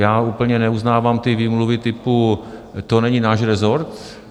Já úplně neuznávám ty výmluvy typu: To není náš rezort.